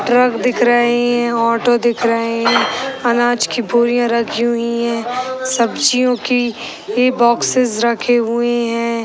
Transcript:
Truck दिख रही हैं ऑटो दिख रहे हैं अनाज की बोरियां रखी हुई हैं सब्जियों की इ बॉक्सेस रखे हुए हैं।